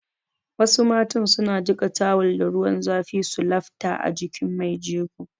Wasu matan su na jiƙa tawul da ruwan zafi su lafta a jikin mai jego